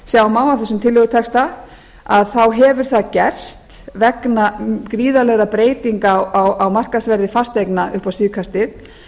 sjá má af þessum tillögutexta þá hefur það gerst vegna gríðarlegra breytinga á markaðsverði fasteigna upp á síðkastið